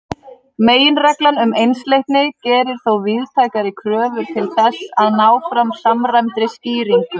Meginreglan um einsleitni gerir þó víðtækari kröfur til þess að ná fram samræmdri skýringu.